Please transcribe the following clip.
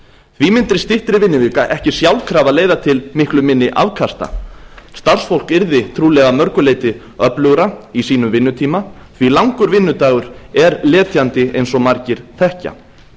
því mundi styttri vinnuvika ekki sjálfkrafa leiða til miklu minni afkasta starfsfólk yrði trúlega að mörgu leyti öflugra í sínum vinnutíma því langur vinnudagur er letjandi eins og margir þekkja